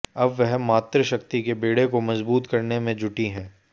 अब वह मातृशक्ति के बेड़े को मजबूत करने में जुटी हैं